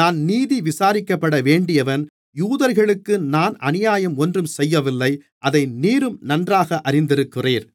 நான் நீதி விசாரிக்கப்படவேண்டியவன் யூதர்களுக்கு நான் அநியாயம் ஒன்றும் செய்யவில்லை அதை நீரும் நன்றாக அறிந்திருக்கிறீர்